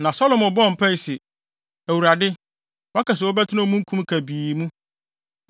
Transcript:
Na Salomo bɔɔ mpae se, “ Awurade, woaka se wobɛtena omununkum kabii mu.